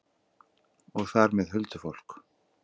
Og þar með huldufólk?